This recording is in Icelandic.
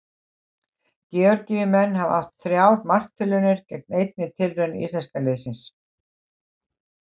Georgíumenn hafa átt þrjár marktilraunir gegn einni tilraun íslenska liðsins.